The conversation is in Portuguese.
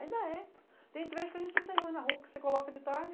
Ainda é. Tem entrevista que a gente não tem luz na rua, que você coloca de tarde,